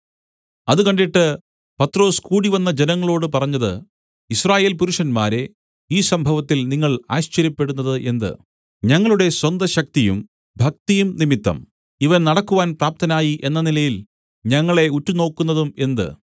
അത് കണ്ടിട്ട് പത്രൊസ് കൂടിവന്ന ജനങ്ങളോട് പറഞ്ഞത് യിസ്രായേൽ പുരുഷന്മാരേ ഈ സംഭവത്തിൽ നിങ്ങൾ ആശ്ചര്യപ്പെടുന്നത് എന്ത് ഞങ്ങളുടെ സ്വന്ത ശക്തിയും ഭക്തിയും നിമിത്തം ഇവൻ നടക്കുവാൻ പ്രാപ്തനായി എന്ന നിലയിൽ ഞങ്ങളെ ഉറ്റുനോക്കുന്നതും എന്ത്